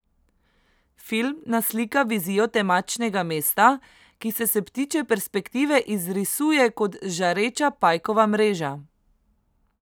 Film naslika vizijo temačnega mesta, ki se s ptičje perspektive izrisuje kot žareča pajkova mreža.